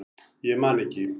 Ég man ekki